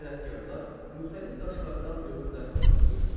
Sənətkarlar müxtəlif daşlardan möhürlər hazırlayırdılar.